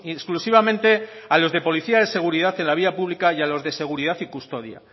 exclusivamente a los de policía de seguridad en la vía pública y a los de seguridad y custodia